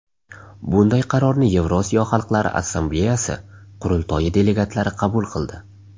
Bunday qarorni Yevrosiyo xalqlari Assambleyasi qurultoyi delegatlari qabul qildi.